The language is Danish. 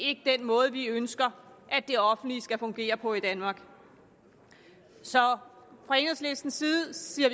ikke den måde vi ønsker at det offentlige skal fungere på i danmark så fra enhedslistens side siger